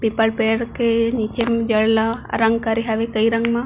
पीपल पेड़ के नीचे में जड़ ला रंग करे हवे कई रंग म--